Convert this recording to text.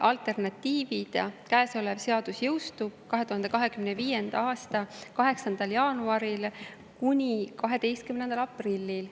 Alternatiivid: käesolev seadus jõustub 2025. aasta 8. jaanuaril – 12. aprillil.